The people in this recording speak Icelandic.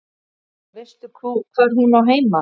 Veistu hvar hún á heima?